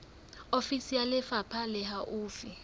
ofisi ya lefapha le haufi